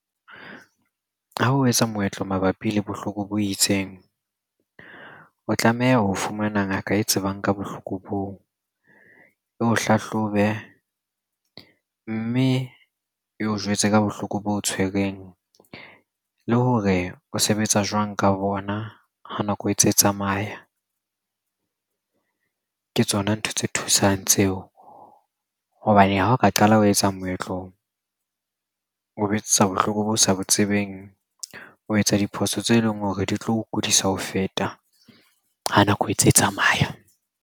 Ha o etsa moetlo mabapi le bohloko bo itseng, o tlameha ho fumana ngaka e tsebang ka bohloko boo. Eo hlahlobe, mme eo jwetse ka bohloko boo o tshwereng le hore o sebetsa jwang ka bona ha nako e tse e tsamaya. Ke tsona ntho tse thusang tseo hobane ha o ka qala ho etsa moetlo, o etsetsa bohloko bo sa bo tsebeng. O etsa diphoso tse leng hore di tlo kudisa ho feta ha nako e tse tsamaya.